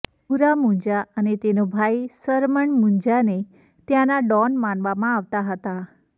ભુરા મુંજા અને તેનો ભાઈ સરમણ મુંજાને ત્યાંના ડોન માનવામાં આવતા હતા